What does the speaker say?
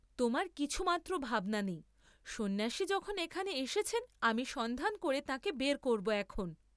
তোমার কিছুমাত্র ভাবনা নেই, সন্ন্যাসী যখন এখানে এসেছেন আমি সন্ধান করে তাঁকে বার কবব এখন।